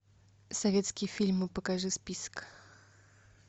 советские фильмы покажи список